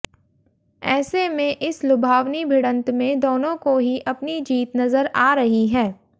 ऐसे में इस लुभावनी भिड़ंत में दोनों को ही अपनी जीत नजर आ रही है